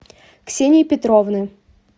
ксении петровны